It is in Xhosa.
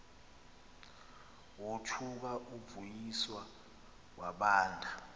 wothuka uvuyiswa wabanda